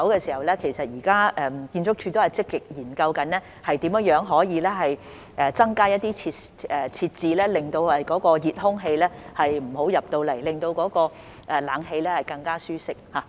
至於其他門口，建築署現已積極研究如何增加一些設置令熱空氣無法進入，令冷氣更舒適。